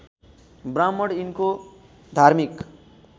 ब्राह्मण यिनको धार्मिक